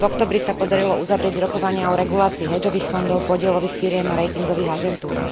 V októbri sa podarilo uzavrieť rokovania o regulácii hedžových fondov, podielových firiem a ratingových agentúr.